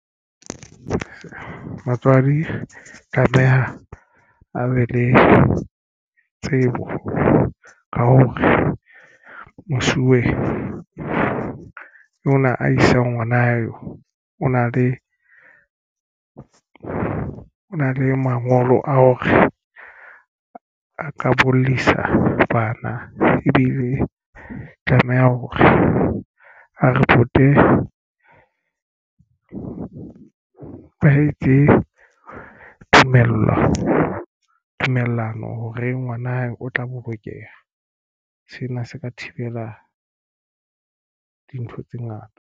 Batswadi tlameha a be le tsebo ka hore mosuwe ona a isang ngwana eo o na le o na le mangolo a hore a ka bollisa bana ebile tlameha hore a ripote ba etse tumellano ho re ngwana hae o tla bolokeha. Sena se ka thibela dintho tse ngata.